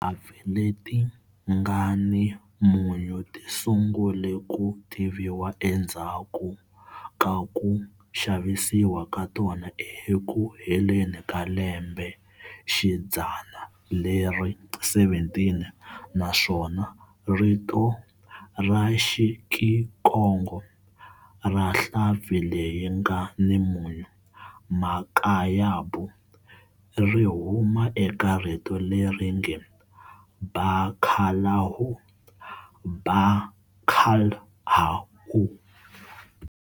Tinhlampfi leti nga ni munyu ti sungule ku tiviwa endzhaku ka ku xavisiwa ka tona eku heleni ka lembexidzana leri 17 naswona rito ra "Xikikongo" ra nhlampfi leyi nga ni munyu,"makayabu", ri huma eka rito leri nge "bacalhau", ba-cal-ha-u.